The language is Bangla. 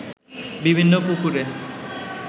বিভিন্ন পুকুরে